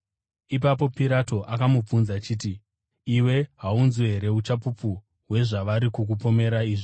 Ipapo Pirato akamubvunza achiti, “Iwe haunzwi here uchapupu hwezvavari kukupomera izvi?”